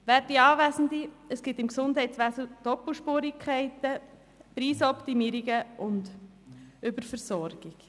Werte Anwesende, es gibt im Gesundheitswesen Doppelspurigkeiten, Preisoptimierungen und Überversorgung.